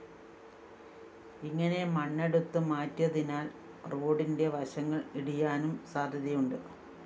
ഇങ്ങനെ മണ്ണെടുത്തു മാറ്റിയതിനാല്‍ റോഡിന്റെ വശങ്ങള്‍ ഇടിയാനും സാധ്യതയുണ്ട്